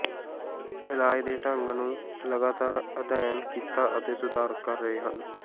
ਇਲਾਜ ਦੇ ਢੰਗ ਨੂੰ ਲਗਾਤਾਰ ਅਧਿਐਨ ਕੀਤਾ ਅਤੇ ਸੁਧਾਰ ਕਰ ਰਹੇ ਹਨ